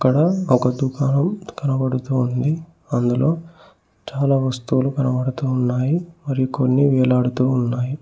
లొ ఒక దుకాణం కనబడుతూ ఉంది అందులో చాలా వస్తువులు కనబడుతున్నాయి మరికొన్ని వేలాడుతూ ఉన్నాయి.